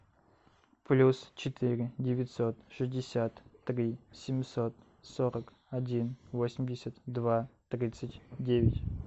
плюс четыре девятьсот шестьдесят три семьсот сорок один восемьдесят два тридцать девять